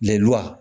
Lenwa